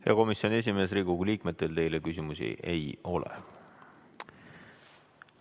Hea komisjoni esimees, Riigikogu liikmetel teile küsimusi ei ole.